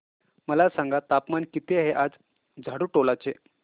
मला सांगा तापमान किती आहे आज झाडुटोला चे